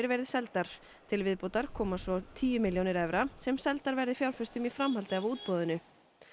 verið seldar til viðbótar komi tíu milljónir evra sem seldar verði fjárfestum í framhaldi af útboðinu